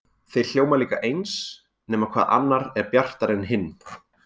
Þeir hljóma líka eins, nema hvað annar er bjartari en hinn.